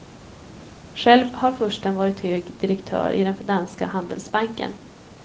Själv har fursten varit hög direktör i den danska handelsbanken.